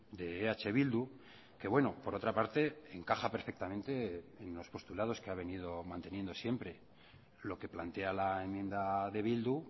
de eh bildu que bueno por otra parte encaja perfectamente en los postulados que ha venido manteniendo siempre lo que plantea la enmienda de bildu